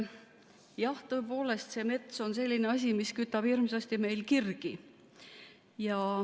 Jah, tõepoolest, mets on selline asi, mis kütab hirmsasti meil kirgi.